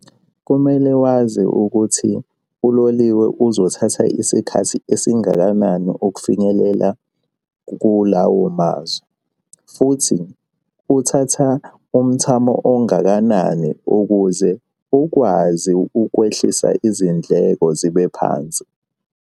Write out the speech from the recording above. Kumele wazi ukuthi uloliwe uzothatha isikhathi esingakanani ukufinyelela kulawo mazwe, futhi uthatha umthamo ongakanani ukuze ukwazi ukwehlisa izindleko zibe phansi.